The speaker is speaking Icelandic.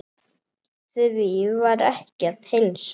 Því var ekki að heilsa.